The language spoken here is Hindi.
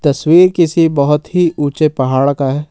तस्वीर किसी बहुत ही ऊंचे पहाड़ का है।